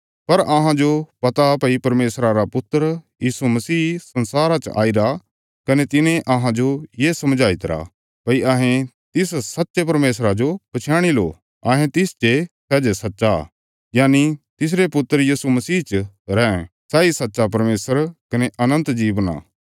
पर अहांजो पता भई परमेशरा रा पुत्र यीशु मसीह संसारा च आईरा कने तिने अहांजो ये समझाईतरा भई अहें तिस सच्चे परमेशरा जो पछयाणी लो कने अहें तिस चे सै जे सच्चा यनि तिसरे पुत्र यीशु मसीह च रैं सैई सच्चा परमेशर कने अनन्त जीवन आ